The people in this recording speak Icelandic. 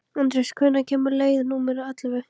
Anders, hvenær kemur leið númer ellefu?